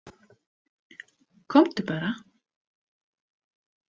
Komdu bara.